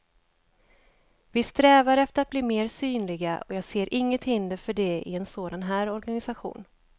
Vi strävar efter att bli mer synliga och jag ser inget hinder för det i en sådan här organisation.